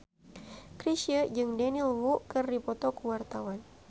Chrisye jeung Daniel Wu keur dipoto ku wartawan